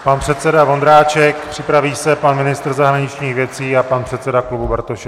Pan předseda Vondráček, připraví se pan ministr zahraničních věcí a pan předseda klubu Bartošek.